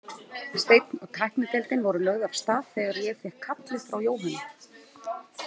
Steinn og tæknideildin voru lögð af stað þegar ég fékk kallið frá Jóhönnu.